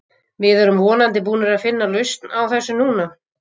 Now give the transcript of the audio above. Við erum vonandi búnir að finna lausn á þessu núna.